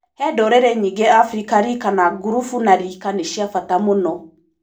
He ndũrĩrĩ nyingĩ Afrĩka rĩka na ngurubu na rika nĩ cia bata mũno.